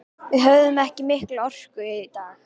Við höfðum ekki mikla orku í dag.